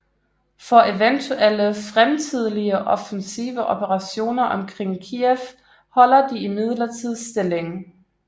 For eventuelle fremtidige offensive operationer omkring Kyiv holder de Imidlertid stillingen